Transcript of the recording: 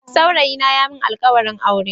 Saurayina ya yi mun alkawarin aure.